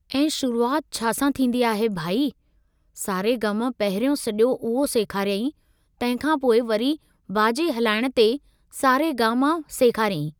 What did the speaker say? ऐं शुरुआत छा सां थींदी आहे भई, सा रे गा म पहिरियों सॼो उहो सेखारियईं, तंहिं खां पोइ वरी बाजे हलाइण ते सा रे गा म सेखारियईं।